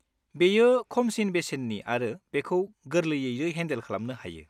बेयो खमसिन बेसेननि आरो बेखौ गोरलैयैनो हेन्डेल खालामनो हायो।